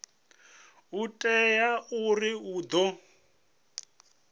ho teaho uri hu ḓo